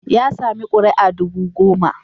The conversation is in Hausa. Ya sami kuri'a dubu goma.